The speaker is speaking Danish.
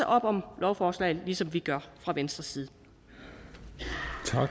op om lovforslaget ligesom vi gør fra venstres